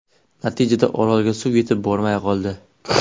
Natijada, Orolga suv yetib bormay qoldi.